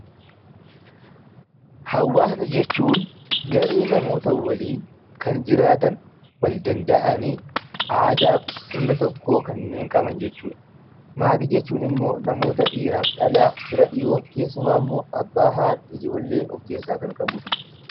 Hawaasa jechuun garee namoota waliin kan jiraatan, wal danda'anii aadaaf sirna tokko kan qaban jechuu dha. Maatii jechuun immoo namoota dhiiraaf dhalaa, fira dhiyoo, keessumaa immoo Abbaa, Haadha, Ijoollee of keessaa kan qabu dha.